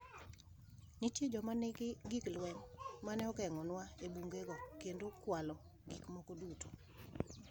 Nitie joma nigi gik lweny ma ne geng’onua e bunge go kendo kwalo gik moko duto.